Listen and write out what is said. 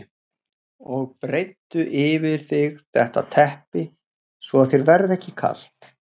Og breiddu yfir þig þetta teppi svo að þér verði ekki kalt.